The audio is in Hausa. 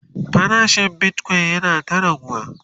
farashin Bitcoin yana ta raguwa